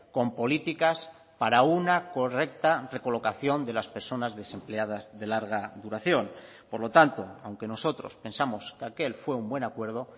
con políticas para una correcta recolocación de las personas desempleadas de larga duración por lo tanto aunque nosotros pensamos que aquel fue un buen acuerdo